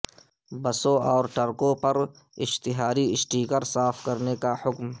بسوں اور ٹرکوں پر اشتہاری اسٹیکر صاف کرنے کا حکم